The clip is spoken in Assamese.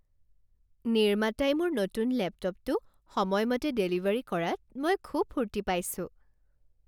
নিৰ্মাতাই মোৰ নতুন লেপটপটো সময়মতে ডেলিভাৰী কৰাত মই খুব ফূৰ্তি পাইছোঁ।